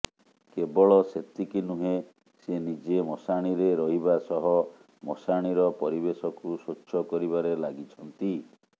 କେବଳ ସେତିକି ନୁହେ ସେ ନିଜେ ମଶାଣିରେ ରହିବା ସହ ମଶାଣିର ପରିବେଶକୁ ସ୍ବଚ୍ଛ କରିବାରେ ଲାଗିଛନ୍ତି